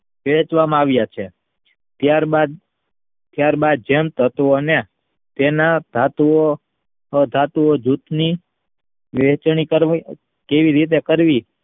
વહેંચવામાં આવ્યા છે. ત્યારબાદ જેમ તત્વને તેના ધાતુઓ અધાતુઓ જૂથની વહેંચણી કેવી રીતે કરવી